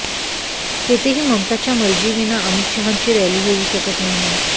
तेथेही ममताच्या मर्जीविना अमित शहांची रॅली होऊ शकत नाही